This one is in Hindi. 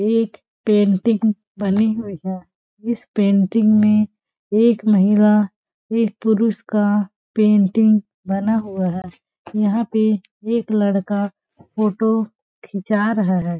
एक पेंटिंग बनी हुई है इस पेंटिंग में एक महिला एक पुरुष का पेंटिंग बना हुआ है यहाँ पे एक लड़का फोटो खिचा रहा हैं।